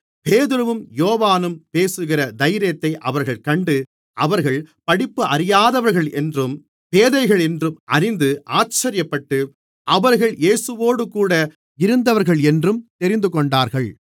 பேதுருவும் யோவானும் பேசுகிற தைரியத்தை அவர்கள் கண்டு அவர்கள் படிப்பறியாதவர்களென்றும் பேதைகளென்றும் அறிந்து ஆச்சரியப்பட்டு அவர்கள் இயேசுவோடுகூட இருந்தவர்களென்றும் தெரிந்துகொண்டார்கள்